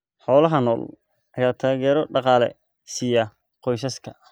Xoolaha nool ayaa taageero dhaqaale siiya qoysaska.